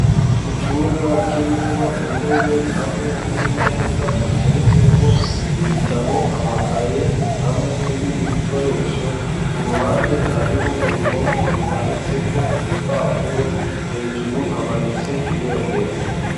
Icumba kirimwo intebe hamwe n'imeza ziteretseko ibitabo , amakaye ,hamwe n'ibindi bikoresho , ku ruhande hariho uruhome rumanitseko ibipapuro , hejuru hamanitse ibendera.